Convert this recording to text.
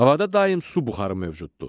Havada daim su buxarı mövcuddur.